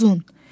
Uzun.